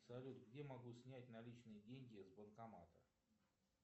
салют где могу снять наличные деньги с банкомата